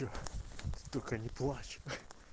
только не плачь